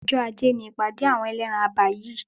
Ọjọ́ ajé ni ìpàdé àwọn ẹlẹ́ran abà yìí.